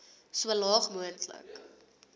so laag moontlik